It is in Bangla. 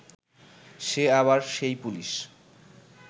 সে আবার সেই পুলিশ